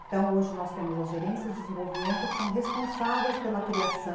Então, hoje nós temos as gerências de desenvolvimento que são responsáveis pela criação